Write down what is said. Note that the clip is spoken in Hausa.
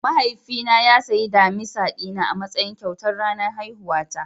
Mahaifina ya sayi damisa dina a matsayin kyautar ranar haihuwata.